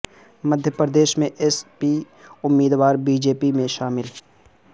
مدھیہ پردیش میں SP امیدوار BJP میں شامل